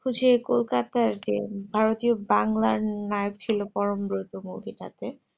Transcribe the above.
বুঝি kolkata আগের ভারতীয় বাংলার নায়ক ছিল পরমব্রত movie টাতে